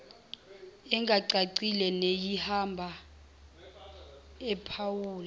engacacile neyihaba ephawula